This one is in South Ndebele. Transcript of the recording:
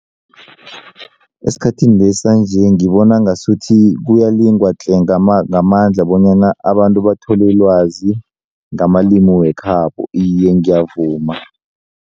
Esikhathinesi sanje ngibona ngasuthi kuyalingwa tle ngamandla bonyana abantu bathole ilwazi ngamalimi wekhabo iye ngiyavuma.